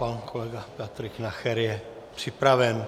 Pan kolega Patrik Nacher je připraven.